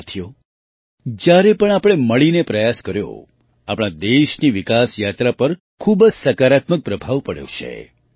સાથીઓ જ્યારે પણ આપણે મળીને પ્રયાસ કર્યો આપણા દેશની વિકાસ યાત્રા પર ખૂબ જ સકારાત્મક પ્રભાવ પડ્યો છે